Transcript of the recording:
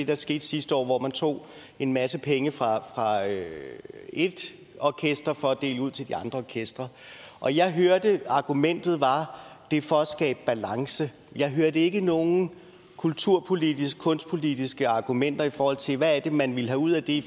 der skete sidste år hvor man tog en masse penge fra et orkester for at dele ud til de andre orkestre og jeg hørte at argumentet var at det er for at skabe balance jeg hørte ikke nogen kulturpolitiske kunstpolitiske argumenter i forhold til hvad det er man vil have ud af det